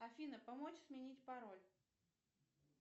афина помочь сменить пароль